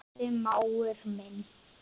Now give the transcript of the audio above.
Elsku besti mágur minn.